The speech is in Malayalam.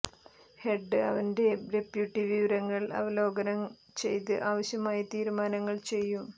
ഹെഡ് അവന്റെ ഡെപ്യൂട്ടി വിവരങ്ങൾ അവലോകനം ചെയ്ത് ആവശ്യമായ തീരുമാനങ്ങൾ ചെയ്യും